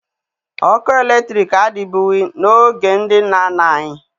Ọkụ eletriki adịbughi n'oge ndị nna nna anyị